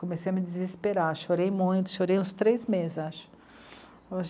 Comecei a me desesperar, chorei muito, chorei uns três meses, acho.